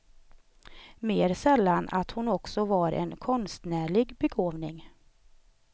Mer sällan att hon också var en konstnärlig begåvning.